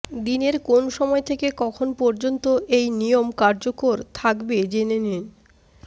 দিনের কোন সময় থেকে কখন পর্যন্ত এই নিয়ম কার্যকর থাকবে জেনে নিন